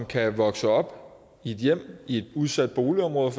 kan vokse op i et hjem i et udsat boligområde og